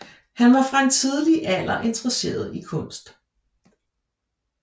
Han var fra en tidlig alder interesseret i kunst